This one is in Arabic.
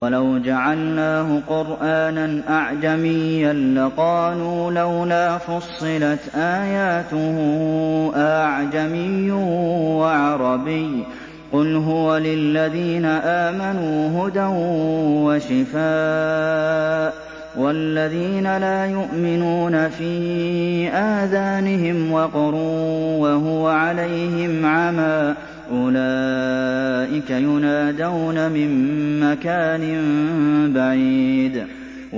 وَلَوْ جَعَلْنَاهُ قُرْآنًا أَعْجَمِيًّا لَّقَالُوا لَوْلَا فُصِّلَتْ آيَاتُهُ ۖ أَأَعْجَمِيٌّ وَعَرَبِيٌّ ۗ قُلْ هُوَ لِلَّذِينَ آمَنُوا هُدًى وَشِفَاءٌ ۖ وَالَّذِينَ لَا يُؤْمِنُونَ فِي آذَانِهِمْ وَقْرٌ وَهُوَ عَلَيْهِمْ عَمًى ۚ أُولَٰئِكَ يُنَادَوْنَ مِن مَّكَانٍ بَعِيدٍ